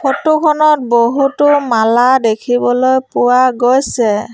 Photo খনত বহুতো মালা দেখিবলৈ পোৱা গৈছে।